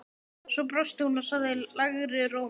Svo brosti hún og sagði lægri rómi